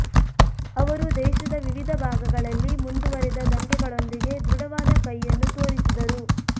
ಅವರು ದೇಶದ ವಿವಿಧ ಭಾಗಗಳಲ್ಲಿ ಮುಂದುವರೆದ ದಂಗೆಗಳೊಂದಿಗೆ ದೃಢವಾದ ಕೈಯನ್ನು ತೋರಿಸಿದರು